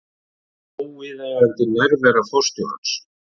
Óviðeigandi nærvera forstjórans